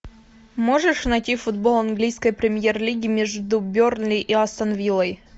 можешь найти футбол английской премьер лиги между бернли и астон виллой